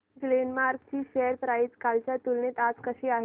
Glenmark ची share price कालच्या तुलनेत आज कशी आहे